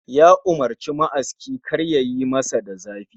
Ya umurci ma'aski kar yayi masa da zafi